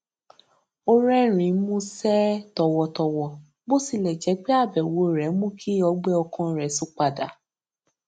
ó rérìnín músé tòwòtòwò bó tilè jé pé àbèwò rè mú kí ọgbé ọkàn rè tún padà